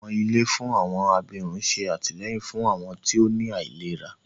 Àwọn ilé fún àwọn abirùn ṣé àtìlẹ́yìn fún àwọn tí ó ní àìlera